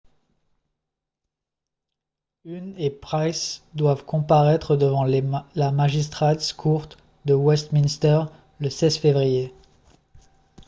huhne et pryce doivent comparaître devant la magistrates court de westminster le 16 février